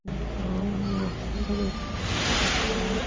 नीचे आँगनों यान हरियो हरियो सो दिखे है।